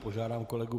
Požádám kolegu